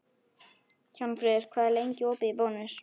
Hjálmfríður, hvað er lengi opið í Bónus?